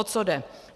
O co jde.